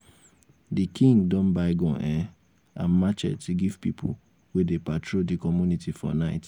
di king don buy gun um and matchet give pipu wey dey patrol di community for night.